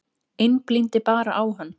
Einblíndi bara á hann.